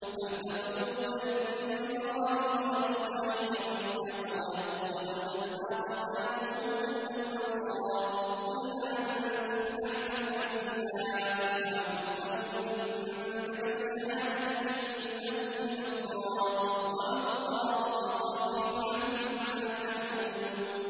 أَمْ تَقُولُونَ إِنَّ إِبْرَاهِيمَ وَإِسْمَاعِيلَ وَإِسْحَاقَ وَيَعْقُوبَ وَالْأَسْبَاطَ كَانُوا هُودًا أَوْ نَصَارَىٰ ۗ قُلْ أَأَنتُمْ أَعْلَمُ أَمِ اللَّهُ ۗ وَمَنْ أَظْلَمُ مِمَّن كَتَمَ شَهَادَةً عِندَهُ مِنَ اللَّهِ ۗ وَمَا اللَّهُ بِغَافِلٍ عَمَّا تَعْمَلُونَ